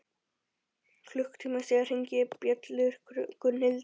Klukkutíma síðar hringi ég bjöllu Gunnhildar.